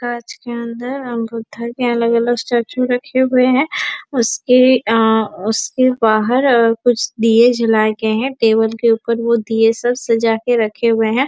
कांच के अंदर बुद्धा के अलग - अलग स्टेचू रखे हुए है उसके आ उसके बाहर और कुछ दिए जला के है टेबल के ऊपर वो दिए सब सजा के रखे हुए है।